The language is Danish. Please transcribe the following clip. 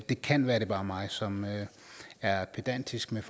det kan være at det bare er mig som er pedantisk med